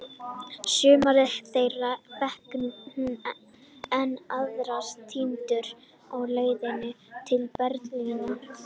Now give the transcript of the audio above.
Sumar þeirra fékk hún, en aðrar týndust á leiðinni til Berlínar.